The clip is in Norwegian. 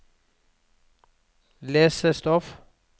lesestoff